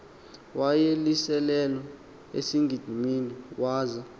wayelicelelwe esigidimini waza